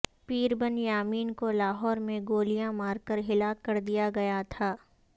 پیر بن یامین کو لاہور میں گولیاں مار کر ہلاک کر دیا گیا تھا